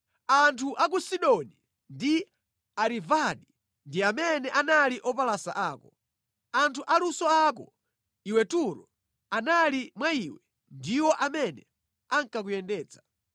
Anthu a ku Sidoni ndi Arivadi ndi amene anali opalasa ako. Anthu aluso ako, iwe Turo, anali mwa iwe ndiwo amene ankakuyendetsa.